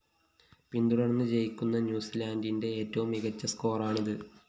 പിന്തുടര്‍ന്ന്‌ ജയിക്കുന്ന ന്യൂസിലാന്റിന്റെ ഏറ്റവും മികച്ച സ്കോറാണിത്‌